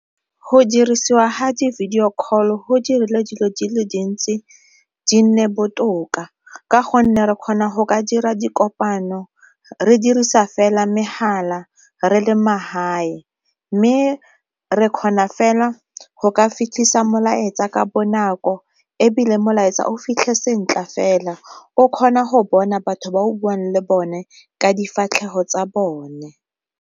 Go dirisiwa ga di-video call go dirile dilo dile dintsi di nne botoka ka gonne re kgona go ka dira dikopano re dirisa fela mgala re le magae. Mme re kgona fela go ka fitlhisa molaetsa ka bonako ebile molaetsa o fitlhe sentle fela, o kgona go bona batho ba o buang le bone ka difatlhego tsa bone.